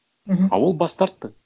мхм а ол бас тартты